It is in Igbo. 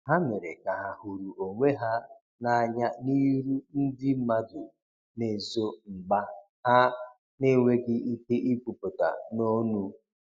Ha mere ka ha huru onwe ha na anya n'iru ndi madu na ezo mgba ha n enweghi ike ikwuputa n'onu